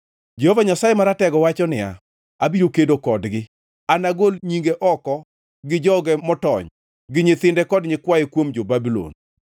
Jehova Nyasaye Maratego wacho niya, “Abiro kedo kodgi. Anagol nyinge oko gi joge motony gi nyithinde kod nyikwaye kuom jo-Babulon.”